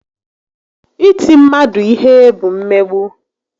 Iti mmadu ihe bụ mmegbu